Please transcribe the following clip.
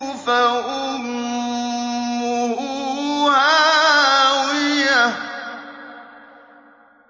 فَأُمُّهُ هَاوِيَةٌ